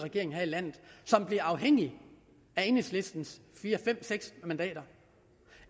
regering her i landet som bliver afhængig af enhedslistens fire fem seks mandater